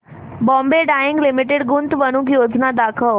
Bombay Dyeing Limited गुंतवणूक योजना दाखव